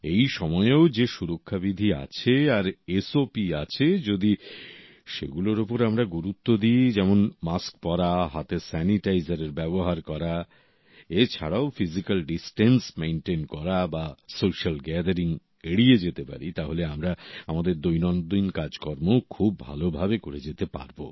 এই সময়েও যে সুরক্ষা বিধি আছে আর সপ আছে যদি সেগুলো ওপর আমরা গুরুত্ব দিই যেমন মাস্ক পরা হাতে স্যানিটাইজার ব্যবহার করা এ ছাড়াও ফিজিক্যাল ডিসটেন্স মেনটেন করা বা সোশ্যাল গ্যাদারিং এড়িয়ে যেতে পারি তাহলে আমরা আমাদের দৈনন্দিন কাজকার্মও খুব ভালোভাবে করে যেতে পারব